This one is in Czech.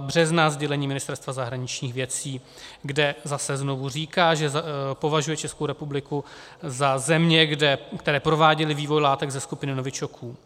března sdělením Ministerstva zahraničních věcí, kde zase znovu říká, že považuje Českou republiku za zemi, které prováděly vývoj látek ze skupiny novičoků.